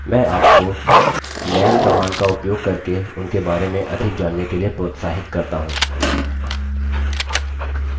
मैं आपको man command का उपयोग करके उनके बारे में अधिक जानने के लिए प्रोत्साहित करता हूँ